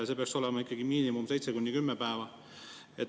See peaks olema ikkagi miinimum 7–10 päeva.